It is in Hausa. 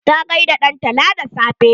Ta gaida dantala da safe.